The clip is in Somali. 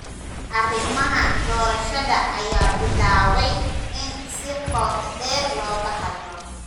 Arrimaha doorashada ayaa bilaabay in si qoto dheer looga hadlo.